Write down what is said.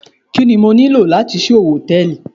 Kí ni mo nílò láti ṣí owó Hòtẹ́lìì?